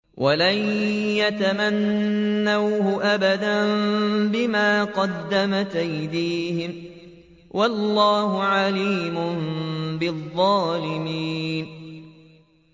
وَلَن يَتَمَنَّوْهُ أَبَدًا بِمَا قَدَّمَتْ أَيْدِيهِمْ ۗ وَاللَّهُ عَلِيمٌ بِالظَّالِمِينَ